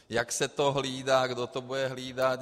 Jak se to hlídá, kdo to bude hlídat?